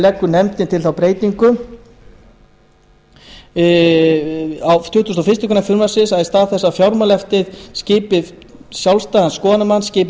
leggur nefndin til þá breytingu á tuttugustu og fyrstu grein frumvarpsins að í stað þess að fjármálaeftirlitið skipi sjálfstæðan skoðunarmann skipi